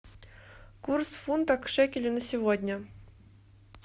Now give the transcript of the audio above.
курс фунта к шекелю на сегодня